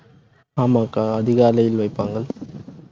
ஆமாக்கா அதிகாலையில் வைப்பாங்க.